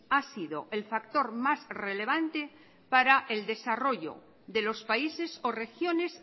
ha sido el factor más relevante para el desarrollo de los países o regiones